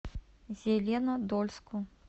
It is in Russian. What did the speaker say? зеленодольску